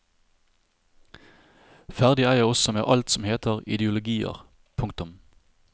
Ferdig er jeg også med alt som heter ideologier. punktum